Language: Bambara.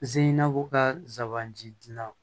Ze in'a fɔ ka zandi dilan